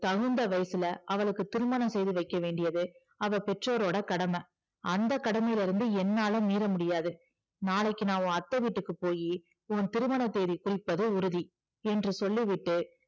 தகுந்த வயசுல அவளுக்கு திருமணம் செய்து வைக்க வேண்டியது அவள் பெற்றோரோட கடமை அந்த கடமையிலருந்து என்னால மீற முடியாது நாளைக்கு நான் உன் அத்தை வீட்டுக்கு போயி உன் திருமண தேதி குறிப்பது உறுதி என்று சொல்லி விட்டு